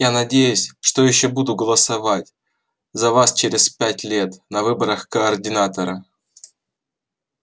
я надеюсь что ещё буду голосовать за вас через пять лет на выборах координатора